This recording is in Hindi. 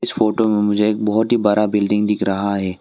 फोटो में मुझे एक बहोत ही बरा बिल्डिंग दिख रहा है।